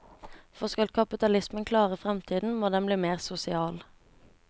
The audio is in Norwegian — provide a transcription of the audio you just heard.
For skal kapitalismen klare fremtiden, må den bli mer sosial.